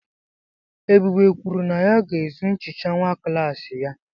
Ebube kwuru na ya ga-ezu nchicha nwa klassị ya.